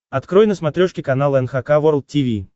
открой на смотрешке канал эн эйч кей волд ти ви